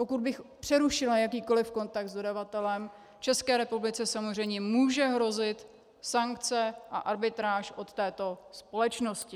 Pokud bych přerušila jakýkoli kontakt s dodavatelem, České republice samozřejmě může hrozit sankce a arbitráž od této společnosti.